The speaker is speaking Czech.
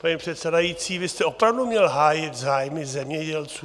paní předsedající, vy jste opravdu měl hájit zájmy zemědělců.